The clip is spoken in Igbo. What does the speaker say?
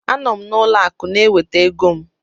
A nọ m n'ụlọ akụ na-enweta ego m